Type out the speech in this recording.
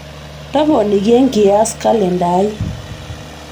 toponiki enkias kalenda aai